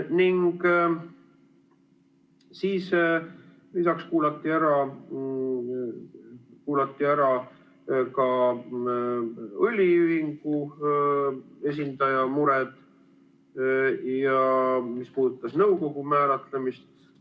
Siis lisaks kuulati ära ka õliühingu esindaja mure, mis puudutas nõukogu määratlemist.